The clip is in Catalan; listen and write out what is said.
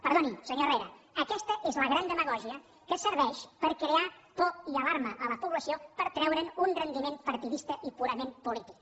perdoni senyor herrera aquesta és la gran demagògia que serveix per crear por i alarma a la població per treure’n un rendiment partidista i purament polític